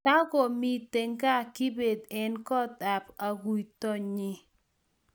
Tokomito kaa kibet eng koot ab aguitonyi